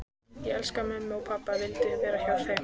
Ég elskaði mömmu og pabba og vildi vera hjá þeim.